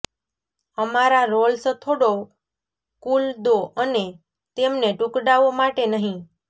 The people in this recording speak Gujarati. અમારા રોલ્સ થોડો કૂલ દો અને તેમને ટુકડાઓ માટે નહીં